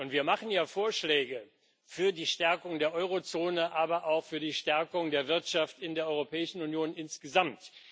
Wir machen ja Vorschläge für die Stärkung der Eurozone, aber auch für die Stärkung der Wirtschaft in der Europäischen Union insgesamt.